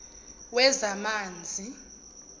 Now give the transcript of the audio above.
wezamanzi